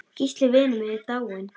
Gísli vinur minn er dáinn.